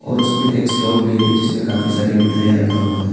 और उसमें एक स्टॉल भी है जिसमें काफी सारी मिठाइयां रखा हुआ है।